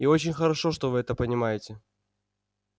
и очень хорошо что вы это понимаете